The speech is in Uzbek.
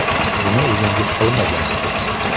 Buni o‘zingiz qilmagansiz.